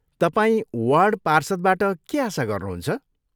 तपाईँ वार्ड पार्षदबाट के आशा गर्नुहुन्छ?